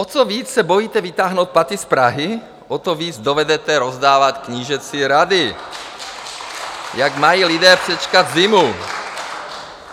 O co víc se bojíte vytáhnout paty z Prahy, o to víc dovedete rozdávat knížecí rady, jak mají lidé přečkat zimu.